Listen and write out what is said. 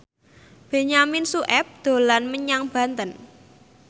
Benyamin Sueb dolan menyang Banten